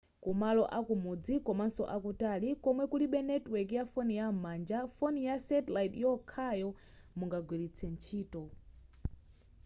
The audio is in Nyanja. kumalo akumudzi komanso akutali komwe kulibe netiweki ya foni yam'manja foni ya satellite ndiyokhayo mungagwilitse ntchito